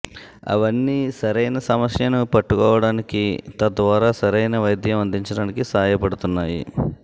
అవన్నీ సరైన సమస్యని పట్టుకోవడానికి తద్వారా సరైన వైద్యం అందించడానికి సాయ పడుతున్నాయి